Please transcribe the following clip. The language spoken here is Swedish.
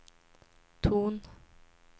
ton